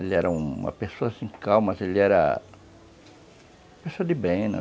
Ele era uma pessoa, assim, calma, mas ele era... Pessoa de bem, né?